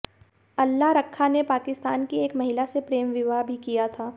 अल्ला रक्खा ने पाकिस्तान की एक महिला से प्रेम विवाह भी किया था